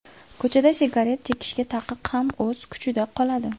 Ko‘chada sigaret chekishga taqiq ham o‘z kuchida qoladi.